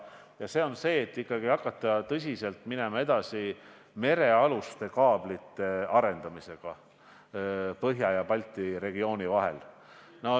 Ja see puudutab seda, et hakata tõsiselt minema edasi merealuste kaablite arendamisega Põhja ja Balti regiooni vahel.